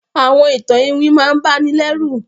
Àwọn ìtan-ìwìn máà ǹ bà nì lẹru